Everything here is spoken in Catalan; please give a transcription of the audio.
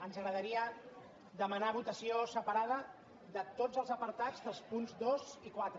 ens agradaria demanar votació separada de tots els apartats dels punts dos i quatre